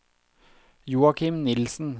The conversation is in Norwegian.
Joachim Nielsen